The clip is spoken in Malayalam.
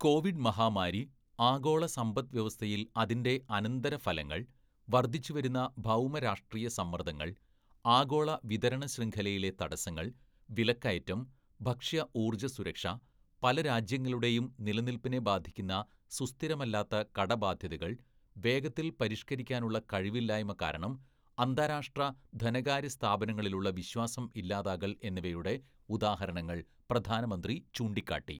കോവിഡ് മഹാമാരി, ആഗോള സമ്പദ്‌വ്യവസ്ഥയിൽ അതിൻ്റെ അനന്തരഫലങ്ങൾ, വർധിച്ചുവരുന്ന ഭൗമ രാഷ്ട്രീയ സമ്മർദങ്ങൾ, ആഗോള വിതരണശൃംഖലയിലെ തടസ്സങ്ങൾ, വിലക്കയറ്റം, ഭക്ഷ്യ ഊർജ സുരക്ഷ, പല രാജ്യങ്ങളുടെയും നിലനിൽപ്പിനെ ബാധിക്കുന്ന സുസ്ഥിരമല്ലാത്ത കടബാധ്യതകൾ, വേഗത്തിൽ പരിഷ്കരിക്കാനുള്ള കഴിവില്ലായ്മ കാരണം അന്താരാഷ്ട്ര ധനകാര്യ സ്ഥാപനങ്ങളിലുള്ള വിശ്വാസം ഇല്ലാതാകൽ എന്നിവയുടെ ഉദാഹരണങ്ങൾ പ്രധാനമന്ത്രി ചൂണ്ടിക്കാട്ടി.